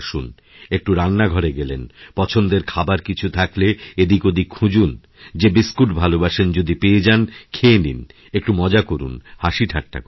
একটুরান্নাঘরে গেলেন পছন্দের খাবার কিছু থাকলে এদিক ওদিক খুঁজুন যে বিস্কুটভালোবাসেন যদি পেয়ে যান খেয়ে নিন একটু মজা করুন হাসিঠাট্টা করুন